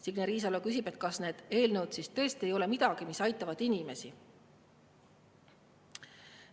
Signe Riisalo küsib, kas need eelnõud siis tõesti ei ole midagi, mis aitavad inimesi.